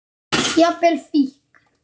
Jafnvel fíkn.